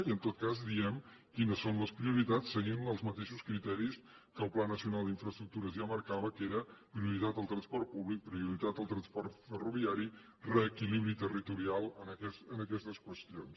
i en tot cas diguem quines són les prioritats seguint els mateixos criteris que el pla nacional d’infraestructures ja marcava que eren prioritat al transport públic prioritat al transport ferroviari reequilibri territorial en aquestes qüestions